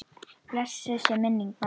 Blessuð sé minning mömmu.